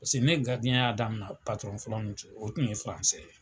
Paseke ne ye e garidiɲɛnya daminɛ patrɔn fɔlɔ min fɛ o tun ye furansɛ ye.